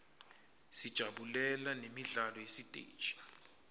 sijabulela nemidlalo yesiteji